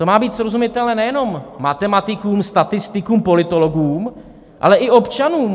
To má být srozumitelné nejenom matematikům, statistikům, politologům, ale i občanům.